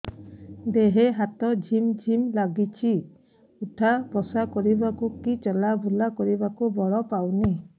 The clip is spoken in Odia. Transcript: ଦେହେ ହାତ ଝିମ୍ ଝିମ୍ ଲାଗୁଚି ଉଠା ବସା କରିବାକୁ କି ଚଲା ବୁଲା କରିବାକୁ ବଳ ପାଉନି